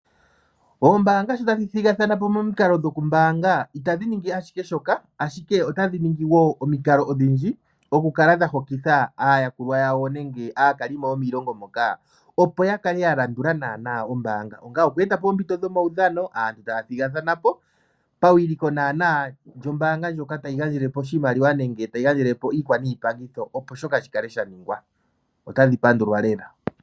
Oombanga shotadhi thigathanapo momikalo dhokumbanga itadhi ningi ashike shoka ashike otadhi ningi wo omikalo odhindji dhoku kala dha hokitha aayakulwa yawo nenge aakalimo yomiilongo moka opo yakale ya landula nana ombanga onga oku etapo ompiito dhomawudhono aantu ta thigathanapo pawiliko nana lyombanga ndjoka tayi gandjelepo oshimaliwa nenge tayi gandje lepo iikwanipangitho opo shoka shi kale shaningwa otadhi pandulwa lela.